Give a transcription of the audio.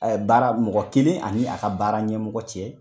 baara mɔgɔ kelen ani a ka baara ɲɛmɔgɔ cɛ.